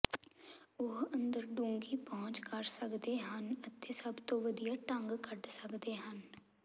ਉਹ ਅੰਦਰ ਡੂੰਘੀ ਪਹੁੰਚ ਕਰ ਸਕਦੇ ਹਨ ਅਤੇ ਸਭ ਤੋਂ ਵਧੀਆ ਢੰਗ ਕੱਢ ਸਕਦੇ ਹਨ